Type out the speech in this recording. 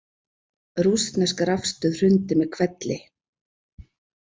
Rússnesk rafstöð hrundi með hvelli